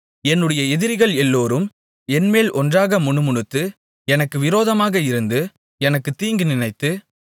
என்னுடைய எதிரிகள் எல்லோரும் என்மேல் ஒன்றாக முணுமுணுத்து எனக்கு விரோதமாக இருந்து எனக்குத் தீங்கு நினைத்து